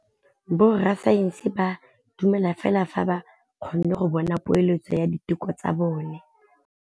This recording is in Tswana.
Borra saense ba dumela fela fa ba kgonne go bona poeletsô ya diteko tsa bone.